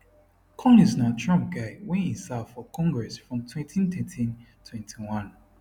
collins na trump guy wen e serve for congress from 201321